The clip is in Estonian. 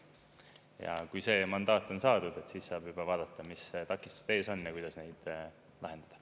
Ja kui see mandaat on saadud, siis saab juba vaadata, mis takistused ees on ja kuidas neid lahendada.